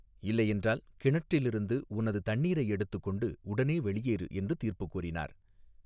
இல்லையென்றால் கிணற்றிலிருந்து உனது தண்ணீரை எடுத்துக் கொண்டு உடனே வெளியேறு என்று தீர்ப்புக் கூறினார்.